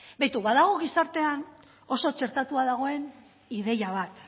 begira badago gizartean oso txertatua dagoen ideia bat